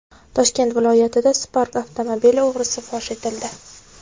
Toshkent viloyatida Spark avtomobili o‘g‘risi fosh etildi.